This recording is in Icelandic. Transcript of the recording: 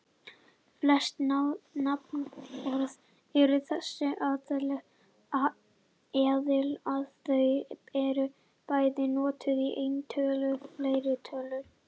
Flest nafnorð eru þess eðlis að þau eru bæði notuð í eintölu og fleirtölu.